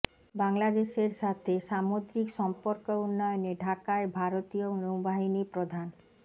বাংলাদেশের সাথে সামুদ্রিক সম্পর্ক উন্নয়নে ঢাকায় ভারতীয় নৌবাহিনী প্রধান